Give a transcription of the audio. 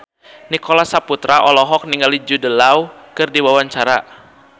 Nicholas Saputra olohok ningali Jude Law keur diwawancara